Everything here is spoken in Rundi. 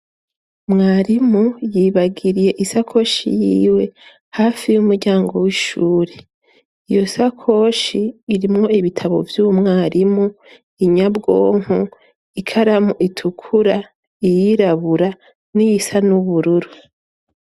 mwarimu yibagiriye isakoshi yiwe hafi y'umuryango w'ishure iyo sakoshi irimwo ibitabo vy'umwarimu inyabwonko ikaramu itukura iyirabura n'iyisa n'ubururu